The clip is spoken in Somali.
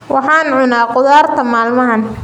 Waxaan cunaa khudaarta maalmahan.